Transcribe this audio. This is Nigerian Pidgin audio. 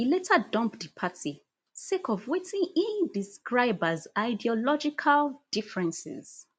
e later dump di party sake of wetin e describe as ideological differences